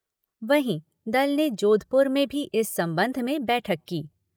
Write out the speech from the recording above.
वहीं दल ने जोधपुर में भी इस संबंध में बैठक की।